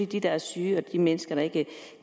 de der er syge og de mennesker der ikke